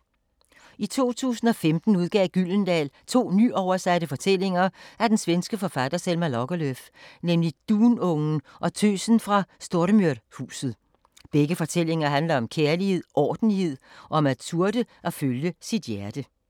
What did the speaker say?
I 2015 udgav Gyldendal to nyoversatte fortællinger af den svenske forfatter Selma Lagerlöf, nemlig Dunungen og Tøsen fra Stormyrhuset. Begge fortællinger handler om kærlighed, ordentlighed og om at turde at følge sit hjerte.